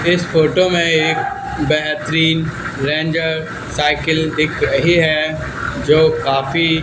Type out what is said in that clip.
इस फोटो में एक बेहतरीन रेंजर साइकिल दिख रही है जो काफी--